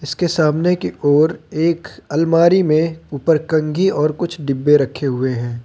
उसके सामने के ओर एक अलमारी में ऊपर कंघी और कुछ डिब्बे रखे हुए है।